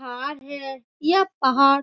यह पहाड़ --